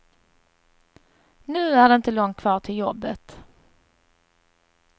Nu är det inte långt kvar till jobbet.